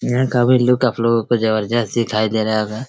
यहाँ का भी लुक आप लोगो को जबरजस्त दिखाई दे रहा होगा।